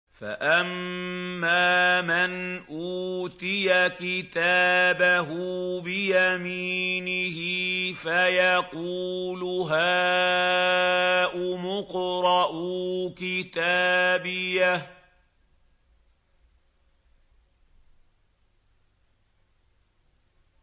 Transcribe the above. فَأَمَّا مَنْ أُوتِيَ كِتَابَهُ بِيَمِينِهِ فَيَقُولُ هَاؤُمُ اقْرَءُوا كِتَابِيَهْ